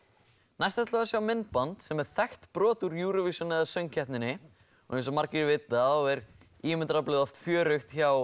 næst ætlum við að sjá myndband sem er þekkt brot úr Eurovision eða söngkeppninni og eins og margir vita þá er ímyndunaraflið oft fjörugt hjá